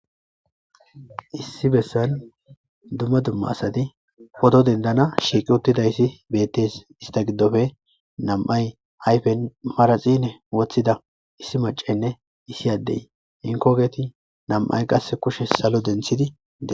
Issi bessan dumma dumma asadi podo dendana shiiqi uttidayssi bettes ista giddofe namay hayfe maraxine woththida issi macenne issi addey inkoogeti nam'ay qasse kushe salo denthidi dees